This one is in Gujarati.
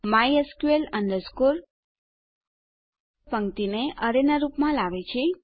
mysql પંક્તિને અરેના રૂપ માં લાવે છે